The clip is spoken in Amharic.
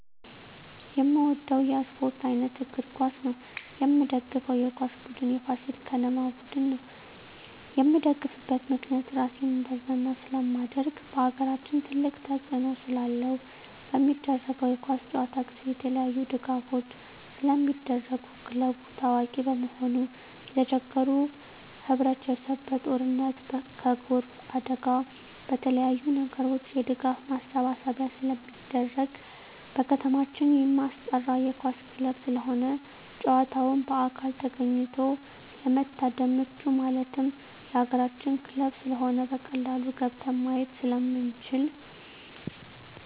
የምወደው የስፓርት አይነት እግር ኳስ ነው። የምደግፈው የኳስ ቡድን የፋሲል ከነማ ቡድን ነው። የምደግፍበት ምክንያት ራሴን እንዳዝናና ስለማደርግ በአገራችን ትልቅ ተፅዕኖ ስላለው። በሚደረገው የኳስ ጨዋታ ጊዜ የተለያዪ ድጋፎች ስለሚደረጉ ክለቡ ታዋቂ በመሆኑ የተቸገሩ ህብረቸሰብ በጦርነት በጎርፍ አደጋ በተለያዪ ነገሮች የድጋፍ ማሰባሰቢያ ስለሚደረግ። በከተማችን የማስጠራ የኳስ ክለብ ስለሆነ ጨዋታውን በአካል ተገኝቶ ለመታደም ምቹ ማለት የአገራችን ክለብ ስለሆነ በቀላሉ ገብተን ማየት ስለምንችል።